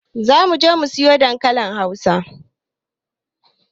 Zamuje mu siyo dankalin hausa